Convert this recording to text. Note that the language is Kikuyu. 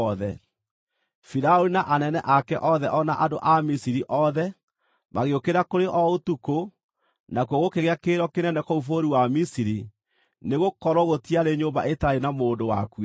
Firaũni na anene ake othe o na andũ a Misiri othe, magĩũkĩra kũrĩ o ũtukũ, nakuo gũkĩgĩa kĩrĩro kĩnene kũu bũrũri wa Misiri, nĩgũkorwo gũtiarĩ nyũmba ĩtaarĩ na mũndũ wakuĩte.